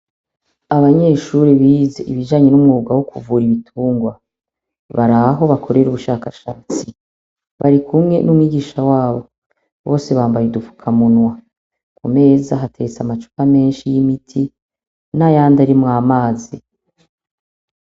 Abanyeshuri bize ibijanye n'umwuga wo kuvura ibitungwa bari aho bakorera ubushakashatsi bari kumwe n'umwigisha wabo bose bambaye dupfukamunwa ku meza hatetse amacupa menshi y'imiti n'ayandi arimwo amazi.